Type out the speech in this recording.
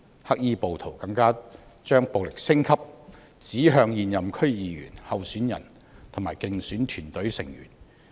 黑衣暴徒更把暴力升級，指向現任區議員、候選人及競選團隊成員。